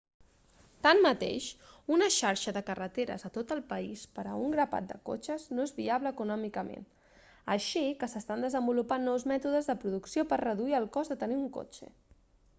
tanmateix una xarxa de carreteres a tot el país per a un grapat de cotxes no és viable econòmicament així que s'estan desenvolupant nous mètodes de producció per a reduir el cost de tenir un cotxe